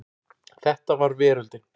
Þetta var veröldin.